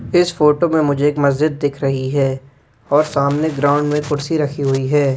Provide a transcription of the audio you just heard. इस फोटो में मुझे एक मस्जिद दिख रही है और सामने ग्राउंड में कुर्सी रखी हुई है।